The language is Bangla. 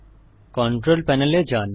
কন্ট্রোল পানেল এ যান